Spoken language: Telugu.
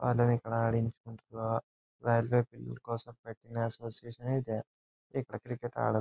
వాళ్ళని ఇక్కడ ఆడించుకుంటూ పిల్లని కోసం పెట్టిన అసోసియేషన్ యే ఇది ఇక్కడ క్రికెట్ ఆడ --